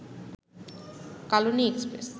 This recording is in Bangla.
কালনী এক্সপ্রেস